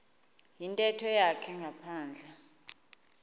yintetho yakhe ngaphandle